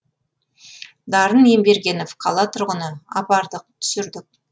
дарын ембергенов қала тұрғыны апардық түсірдік